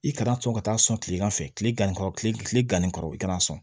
I kana to ka taa sɔn tilegan fɛ kile ganni kɔrɔ kile kile ganni kɔrɔ i kana sɔn